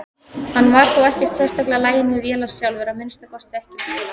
Hann var þó ekkert sérstaklega laginn við vélar sjálfur, að minnsta kosti ekki bíla.